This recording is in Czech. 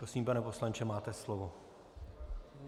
Prosím, pane poslanče, máte slovo.